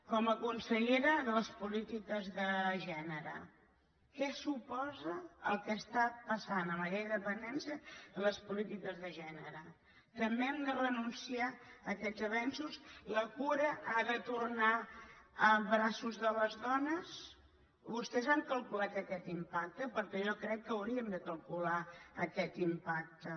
com a consellera de les polítiques de gènere què suposa el que està passant amb la llei de la dependència en les polítiques de gènere també hem de renunciar a aquests avenços la cura ha de tornar a braços de les dones vostès han calculat aquest impacte perquè jo crec que hauríem de calcular aquest impacte